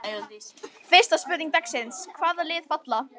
Fyrsta spurning dagsins: Hvaða lið falla?